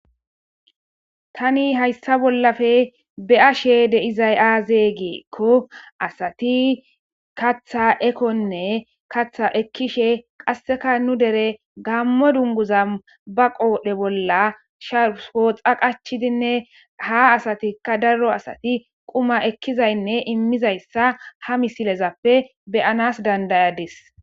Tani hayssa bollafe be'ashe de izay'azeygeekko asati katha ekonne katha ekkishe qasseka nu dere gammo dunguza ba qoodhe bolla shahooxa qachidinne ha asatikka daro asati quma ekkizaynne immizayssa ha misilezappe beyanas dandayadis.